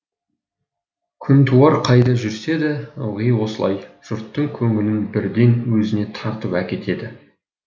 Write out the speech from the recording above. күнтуар қайда жүрсе де ылғи осылай жұрттың көңілін бірден өзіне тартып әкетеді